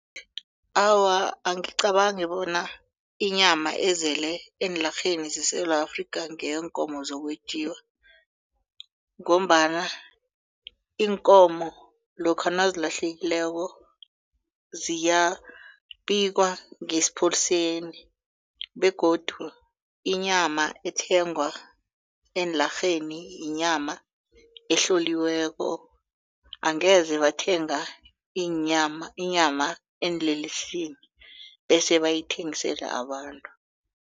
Awa, angicabangi bona inyama ezele eenlarheni zeSewula Afrika ngeyeenkomo zokwentjiwa ngombana iinkomo lokha nazilahlekileko ziyabikwa ngesipholiseni begodu inyama ethengwa eenlarheni yinyama ehloliweko angeze bathenga inyama eenlelesini bese bayithengisele abantu.